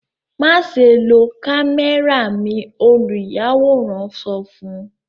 Maṣe lo kamẹra mi! oluyaworan sọ fun u